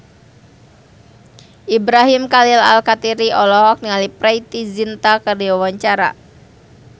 Ibrahim Khalil Alkatiri olohok ningali Preity Zinta keur diwawancara